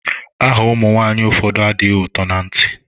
Aha ụmụ nwaanyị ụfọdụ adịghị ụtọ na ntị.